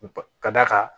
Ka d'a kan